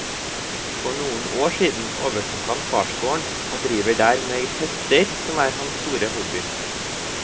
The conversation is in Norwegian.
For noen år siden overtok han farsgården, og driver der med hester, som er hans store hobby.